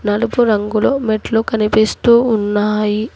నలుపు రంగులో మెట్లు కనిపిస్తూ ఉన్నాయి.